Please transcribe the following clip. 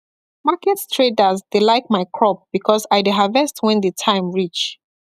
market traders dey like my crop because i dey harvest when the time reach